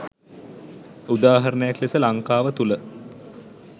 උදාරණයක් ලෙස ලංකාව තුළ